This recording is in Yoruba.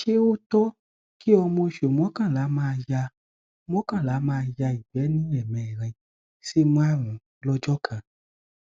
ṣe ó tọ kí ọmọ oṣù mọkànlá maa ya mọkànlá maa ya ìgbẹ ní ẹmẹrin sí márùnún lọjọ kan